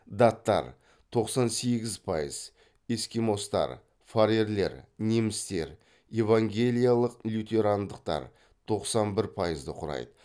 даттар тоқсан сегіз пайыз эскимостар фарерлер немістер евангелиялық лютерандықтар тоқсан бір пайызды құрайды